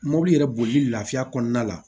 Mobili yɛrɛ boli la kɔnɔna la